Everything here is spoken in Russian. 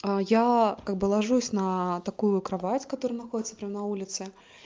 а я как бы ложусь на такую кровать которая находится прямо на улице